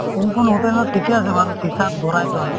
hotel ত ঠিকে আছে বাৰু shisha ত ভৰাই থয়